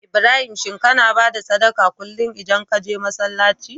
Ibrahim shin kAna bada sadaqah kullun idan kaje masalaci?